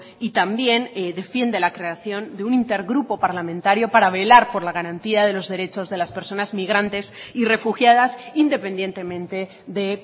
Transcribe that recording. y también defiende la creación de un intergrupo parlamentario para velar por la garantía de los derechos de las personas migrantes y refugiadas independientemente de